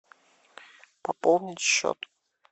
пополнить счет